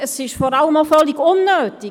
Es ist vor allem auch völlig unnötig.